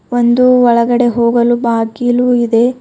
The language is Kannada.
ಒಂದು ಒಳಗಡೆ ಹೋಗಲು ಬಾಗಿಲು ಇದೆ.